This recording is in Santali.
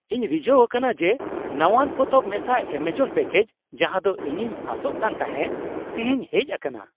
ᱤᱧ ᱨᱤᱡᱷᱟᱹᱣ ᱟᱠᱟᱱᱟ ᱡᱮ ᱱᱟᱶᱟᱱ ᱯᱚᱛᱚᱵ ᱢᱮᱥᱟ ᱮᱹᱢᱟᱡᱚᱱ ᱯᱮᱹᱠᱮᱡ, ᱡᱟᱦᱟᱸ ᱫᱚ ᱤᱧᱤᱧ ᱟᱥᱚᱜ ᱠᱟᱱᱛᱟᱦᱮᱸ, ᱛᱤᱦᱤᱧ ᱦᱮᱡ ᱟᱠᱟᱱᱟ ᱾